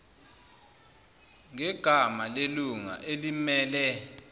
ngegama lelunga elimmele